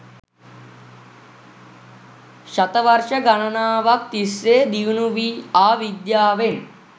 ශතවර්ශ ගණනාවක් තිස්සේ දියුණු වී ආ විද්‍යාවෙන්